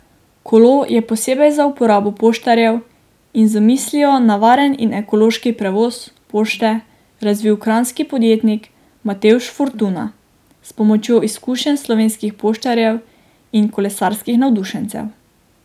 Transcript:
Kolo je posebej za uporabo poštarjev in z mislijo na varen in ekološki prevoz pošte razvil kranjski podjetnik Matevž Fortuna s pomočjo izkušenj slovenskih poštarjev in kolesarskih navdušencev.